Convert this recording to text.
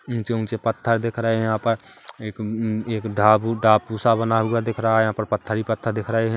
ऊंचे-ऊंचे पत्थर दिख रहे है यहाँ पर एक हुम-एक ढाबु टापू सा बना हुआ दिख रहा है यहाँ पर पत्थर ही पत्थर दिख रहे है ।